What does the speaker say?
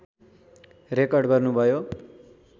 record गर्नुभयो